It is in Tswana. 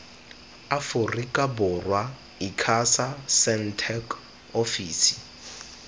aforika borwa icasa sentech ofisi